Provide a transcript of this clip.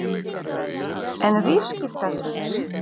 En viðskiptavinirnir?